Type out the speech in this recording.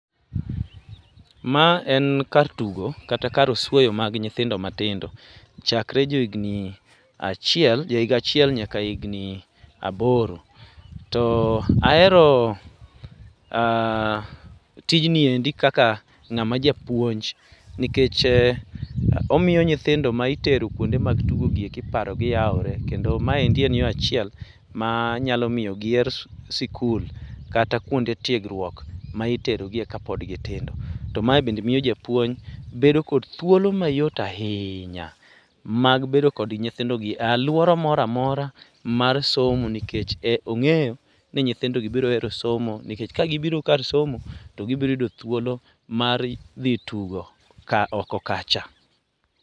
ma en kar tugo kata kar osuoyo mar nyithindo matindo chakre johigni achiel nyaka aboro. to ahero tijni e kaka ngama japuonj, nikech omiyo nyithindo maitero kuonde mag tugo gi eki paro gi yawore. kendo ma en yo achiel ma nyalo miyo giher skul kata kuonde tiegruok miterogi e kapod gitindo. to ma e be miyo japuony bedo kod thuolo m ayot ahinya mag bedo gi nytihindo gi e aluora moro amora mar somo nikech ong'eyo ni nyithindo gi biro hero somo nikech ka gibiro kar somo to gibiro yudo thuolo mar dhi tugo.